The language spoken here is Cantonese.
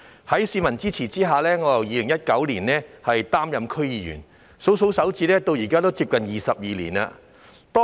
在市民的支持下，我自1999年起擔任區議員，屈指一算，至今已接近22年。